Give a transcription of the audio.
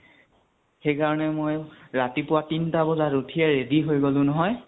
সেইকাৰণে মই ৰাতিপুৱা তিনটা বজাত উঠি ready হৈ গলো নহয়।